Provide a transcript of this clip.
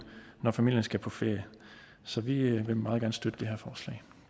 når familien skal på ferie så vi vil meget gerne støtte det her forslag